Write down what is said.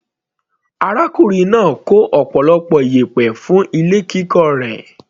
Arákùnrin náà kó ọ̀pọ̀lọpọ̀ iyẹ̀pẹ̀ fún ilé kíkọ́ rẹ̀.